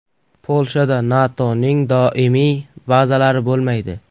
Polshada NATOning doimiy bazalari bo‘lmaydi.